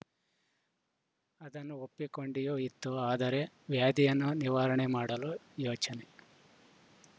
ಅದನ್ನು ಒಪ್ಪಿಕೊಂಡಿಯೂ ಇತ್ತು ಆದರೆ ವ್ಯಾಧಿಯನ್ನು ನಿವಾರಣೆ ಮಾಡಲು ಯೋಚನೆ